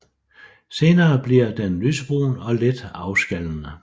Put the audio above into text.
Senere bliver den lysebrun og lidt afskallende